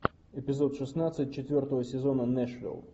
эпизод шестнадцать четвертого сезона нэшвилл